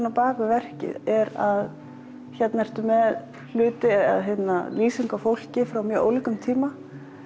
á bak við verkið er að hérna ertu með hluti eða lýsingu á fólki frá mjög ólíkum tíma